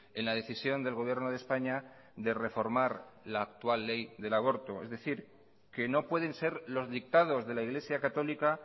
en la decisión del gobierno de españa de reformar la actual ley del aborto es decir que no pueden ser los dictados de la iglesia católica